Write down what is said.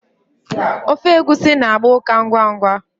Ofe egusi na-agba ukà ngwa ngwa.